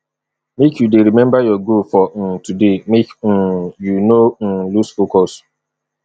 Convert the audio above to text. make you dey remember your goal for um today make um you no um lose focus